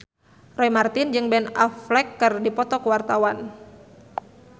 Roy Marten jeung Ben Affleck keur dipoto ku wartawan